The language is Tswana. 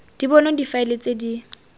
di bonwa difaele tse di